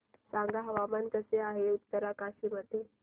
सांगा हवामान कसे आहे उत्तरकाशी मध्ये